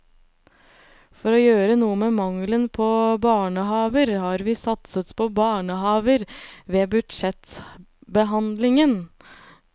For å gjøre noe med mangelen på barnehaver har vi satset på barnehaver ved budsjettbehandlingen.